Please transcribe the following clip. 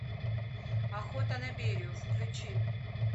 охота на берию включи